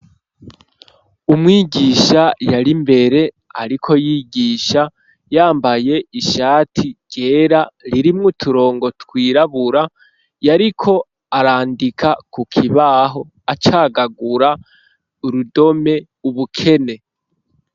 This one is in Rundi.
Umwigisha, yari imbere, ariko yigisha yambaye, ishati ryera, ririmwo uturongo, twirabura; yariko arandika ku kibaho, acagagura urudome; "ubukene".